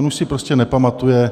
On už si prostě nepamatuje,